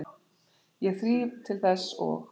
Ég þríf til þess og